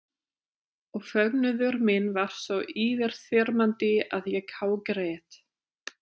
Og fögnuður minn varð svo yfirþyrmandi að ég hágrét.